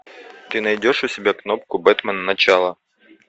ты найдешь у себя кнопку бэтмен начало